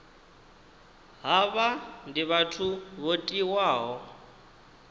havha ndi vhathu vho tiwaho